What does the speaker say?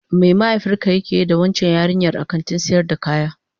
Me mahaifinka yake yi da waccan yarinyar a kantin sayar da kaya?